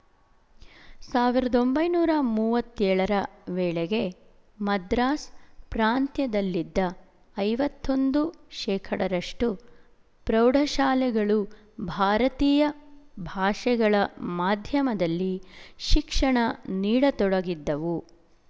ಸಾವಿರದ ಒಂಬೈನೂರ ಮೂವತ್ತ್ ಏಳರ ವೇಳೆಗೆ ಮದ್ರಾಸ್ ಪ್ರಾಂತ್ಯದಲ್ಲಿದ್ದ ಐವತ್ತ್ ಒಂದು ಶೇಖಡ ರಷ್ಟು ಪ್ರೌಢಶಾಲೆಗಳು ಭಾರತೀಯ ಭಾಷೆಗಳ ಮಾಧ್ಯಮದಲ್ಲಿ ಶಿಕ್ಷಣ ನೀಡತೊಡಗಿದ್ದವು